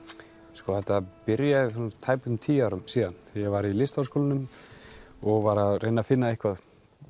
sko þetta byrjaði fyrir tæpum tíu árum síðan þegar ég var í LHÍ og var að reyna að finna eitthvað